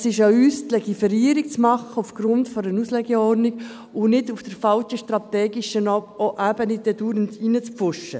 Es ist an uns, die Legiferierung aufgrund einer Auslegeordnung zu machen – und nicht, auf der falschen strategischen Ebene dauernd hineinzupfuschen.